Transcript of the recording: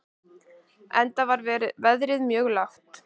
Enda var verðið mjög lágt.